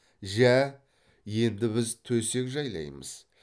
жә енді біз төсек жайлаймыз